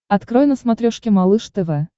открой на смотрешке малыш тв